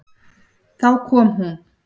Þá kom hún.